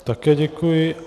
Také děkuji.